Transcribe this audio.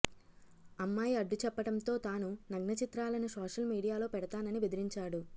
అమ్మాయి అడ్డుచెప్పటంతో తాను నగ్నచిత్రాలను సోషల్ మీడియాలో పెడతానని బెదిరించాడు